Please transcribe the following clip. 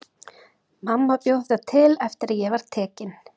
Mamma bjó þetta til eftir að ég var tekin.